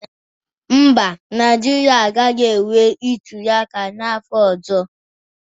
Mba, Naijiria agaghi enwe ntuliaka n'afọ n'ọzo.